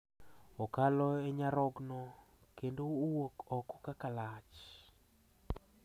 okalo e nyarogno kendo owuok oko kaka lach